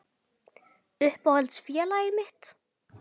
Uppáhalds félagið mitt?